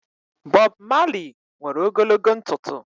Bob Malị nwere ogologo ntụtụ